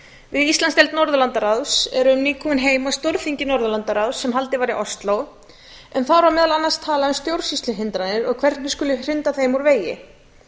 íslandsdeild norðurlandaráðs erum nýkomin heim af stórþingi norðurlandaráðs sem haldið var í ósló en þar var meðal annars talað um stjórnsýsluhindranir og hvernig skuli hrinda þeim úr vegi